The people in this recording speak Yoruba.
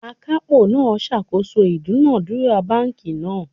Akapo naa sakoso idunadura banki naa